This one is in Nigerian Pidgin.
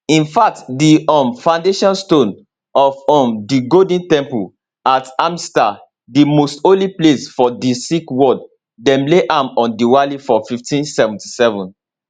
in fact di um foundation stone of um di golden temple at amritsar di most holy place for di sikh world dem lay am on diwali for1577